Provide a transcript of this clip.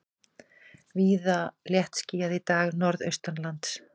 Víða léttskýjað í dag norðaustanlands